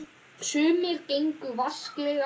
Sumir gengu vasklega fram.